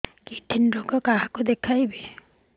kidney ରୋଗ କାହାକୁ ଦେଖେଇବି